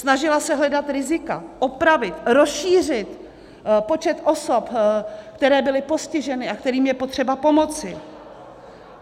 Snažila se hledat rizika, opravit, rozšířit počet osob, které byly postiženy a kterým je potřeba pomoci.